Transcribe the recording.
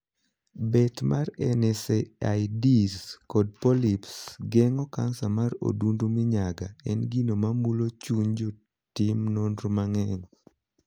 Bet mar 'NSAIDs' kod 'Polyps'. Geng'o kansa mar odundu minyaga en gino mamulo chuny jotim nonro mang'eny.